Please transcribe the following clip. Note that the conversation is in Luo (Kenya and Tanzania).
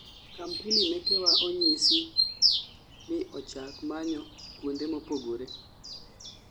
kampuni mekewa onyisi ni ochak manyo kuonde mopogore****